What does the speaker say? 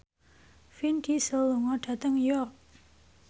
Vin Diesel lunga dhateng York